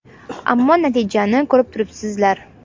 Ammo natijani ko‘rib turibsizlar.